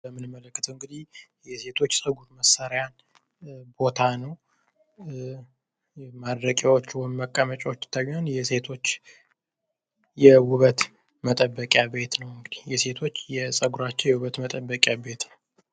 የምንመለከተዉ እንግዲህ የሴት ፀጉር መሰሪያን ቦታ ነዉ። ማድረቂያዎቹ መቀመጫወቹ ይታዩኛል። የሴቶች የዉበት መጠበቂያ ቤት ነዉ። የሴቶች የዉበት መጠበቂያ ቤት ነዉ።